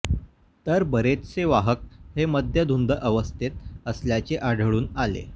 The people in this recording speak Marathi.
तर बरेचसे वाहक हे मद्यधुंद अवस्थेत असल्याचे आढळून आले